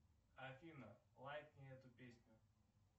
афина лайкни эту песню